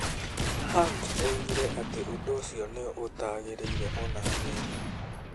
Hunt oigire atĩ ũndũ ũcio nĩ 'ũtagĩrĩire o na hanini.'